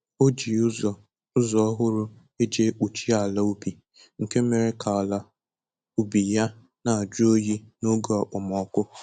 O ji ụzọ ụzọ ọhụrụ eji ekpuchi ala ubi nke mere ka ala ubi ya na ajụ oyi n'oge okpomọkụ